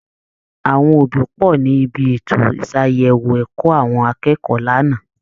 Àwọn òbí pọ̀ ní ibi ètò ìṣàyẹ̀wò ẹ̀kọ́ àwọn akẹ́kọ̀ọ́ lánàá